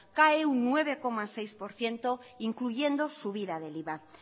cae un nueve coma seis por ciento incluyendo subida del iva